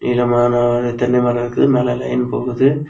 நிலமான ஓரு தென்னை மரோ இருக்கு மேல லைன் போகுது.